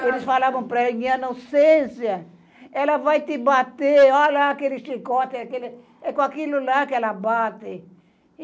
Eles falavam para ela, minha, ela vai te bater, olha aquele chicote, aquele, é com aquilo lá que ela bate.